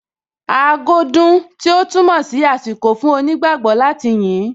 Aago dún, tí ó túmọ̀ sí àsìkò fún onígbágbọ̀ọ́ láti yìn ín